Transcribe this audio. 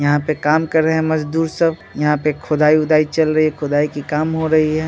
यहाँ पे काम कर रहे मजदुर सभ यहाँ पे खुदाई वुदाई चल रही है खुदाई की काम हो रही है।